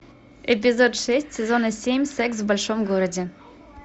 эпизод шесть сезона семь секс в большом городе